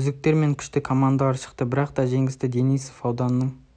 үздіктер мен күшті командалар шықты бірақта жеңісті денисов ауданының